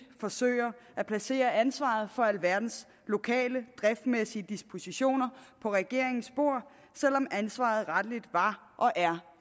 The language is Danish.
forsøger at placere ansvaret for alverdens lokale driftsmæssige dispositioner på regeringens bord selv om ansvaret rettelig var og er